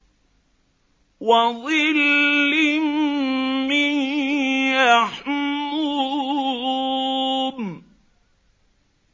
وَظِلٍّ مِّن يَحْمُومٍ